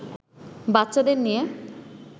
বাচ্চাদের নিয়ে